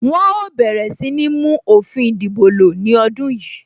Wọn ó bẹ̀rẹ̀ sí ní mú òfin ìdìbò lo ní ọdún yìí